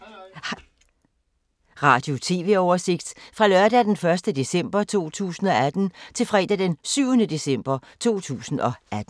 Radio/TV oversigt fra lørdag d. 1. december 2018 til fredag d. 7. december 2018